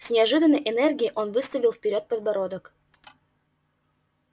с неожиданной энергией он выставил вперёд подбородок